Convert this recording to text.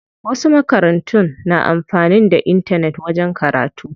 Wasu makarantun na amfanin da intanet wajen karatu.